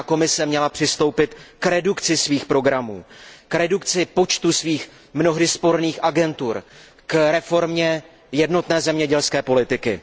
Evropská komise měla přistoupit k redukci svých programů, k redukci počtu svých mnohdy sporných agentur, k reformě jednotné zemědělské politiky.